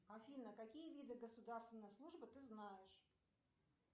афина какие виды государственной службы ты знаешь